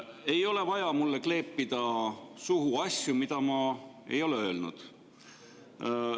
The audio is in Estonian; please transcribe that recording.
Ei ole vaja mulle kleepida suhu, mida ma ei ole öelnud.